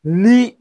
Ni